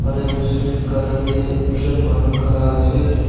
taito swift kari dae ekjun manu kara asae etu.